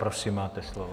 Prosím, máte slovo.